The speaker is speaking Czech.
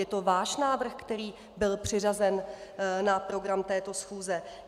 Je to váš návrh, který byl přiřazen na program této schůze.